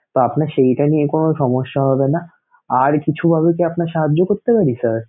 তো আপনার সেইটা নিয়ে কোন সমস্যা হবে না আর কিছুভাবে কি আপনাকে সাহায্য করতে পারি?